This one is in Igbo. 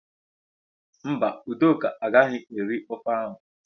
Mba, Udoka agaghị eri ofe áhụ̀.